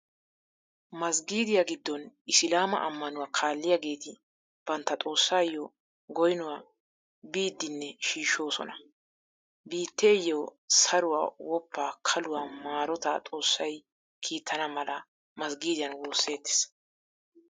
Masggiidiyaa giddon Islaama ammanuwaa kaalliyageeti bantta xoossaayyo goynuwaa biidinne shiishshoosona. Biitteeyyo saruwaa, woppaa, kaluwaa, maarotaa xoossay kiittana mala masggiidiyan woosettees.